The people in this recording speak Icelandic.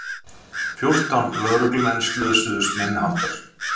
Fjórtán lögreglumenn slösuðust minniháttar